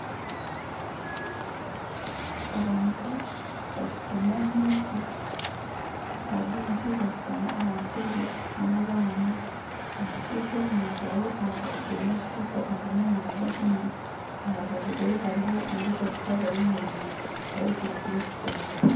Abantu bashutami omuka hariho omushaija ashutami omu ntebe n'abaana, omushaija omu ngaro akwatsiremu ekikopoo arimu naaza kunywa aha rubaju rwe hariho ondiijo mukazi ayemereire, eyezirikire ekitengye